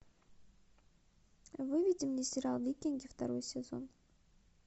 выведи мне сериал викинги второй сезон